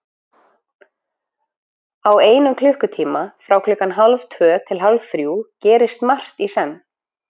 Á einum klukkutíma, frá klukkan hálftvö til hálfþrjú gerist margt í senn.